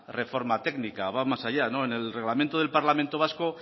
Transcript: reforma técnica va más allá no en el reglamento del parlamento vasco